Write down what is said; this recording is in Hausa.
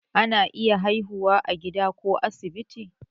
ana iya haihuwa a gida ko asibiti